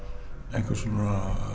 einhvers konar